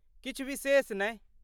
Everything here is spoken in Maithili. किछु विशेष नहि।